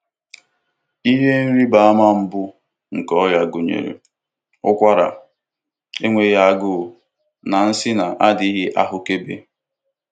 Ihe ịrịba ama mbụ nke ọrịa gụnyere ụkwara, enweghị agụụ, na nsị na-adịghị ahụkebe.